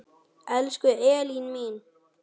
Elsku Elín mín.